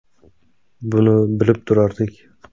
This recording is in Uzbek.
Buni bilib turardik.